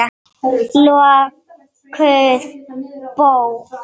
Lokuð bók.